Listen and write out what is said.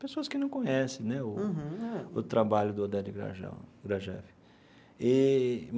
pessoas que não conhecem né o o trabalho do Oded Grajal Grajew eee.